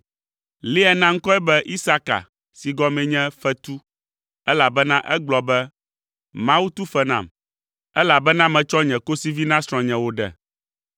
Lea na ŋkɔe be Isaka si gɔmee nye “Fetu,” elabena egblɔ be, “Mawu tu fe nam, elabena metsɔ nye kosivi na srɔ̃nye wòɖe.”